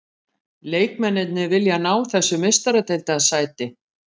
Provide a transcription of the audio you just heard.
Leikmennirnir vilja ná þessu meistaradeildarsæti.